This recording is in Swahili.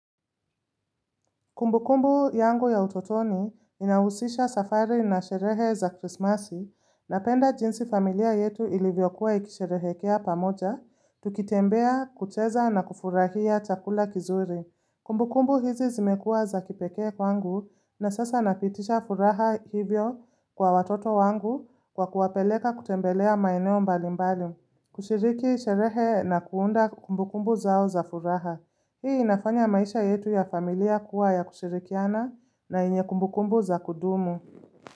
Kumbukumbu yangu ya utotoni inahusisha safari na sherehe za krismasi napenda jinsi familia yetu ilivyokuwa ikisherehekea pamoja, tukitembea kucheza na kufurahia chakula kizuri. Kumbukumbu hizi zimekua za kipekee kwangu na sasa napitisha furaha hivyo kwa watoto wangu kwa kuwapeleka kutembelea maeneo mbalimbali. Kushiriki sherehe na kuunda kumbukumbu zao za furaha. Hii inafanya maisha yetu ya familia kuwa ya kushirikiana na yenye kumbukumbu za kudumu.